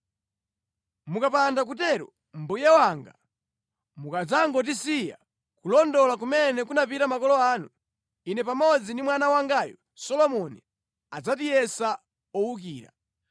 Mukapanda kutero, mbuye wanga, mukadzangotisiya nʼkulondola kumene kunapita makolo anu, ine pamodzi ndi mwana wangayu Solomoni adzatiyesa owukira.”